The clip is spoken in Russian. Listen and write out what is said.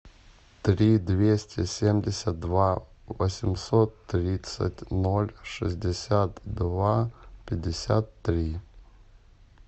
три двести семьдесят два восемьсот тридцать ноль шестьдесят два пятьдесят три